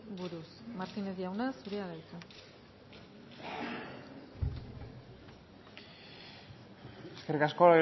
buruz martínez jauna zurea da hitza eskerrik asko